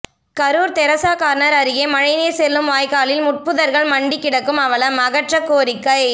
Karur Teresa corner அருகே மழைநீர் செல்லும் வாய்க்காலில் முட்புதர்கள் மண்டி கிடக்கும் அவலம் அகற்ற கோரிக்கை